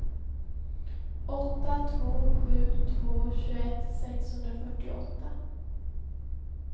åtta två sju två tjugoett sexhundrafyrtioåtta